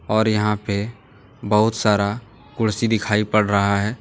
और यहां पे बहुत सारा कुर्सी दिखाई पड़ रहा है।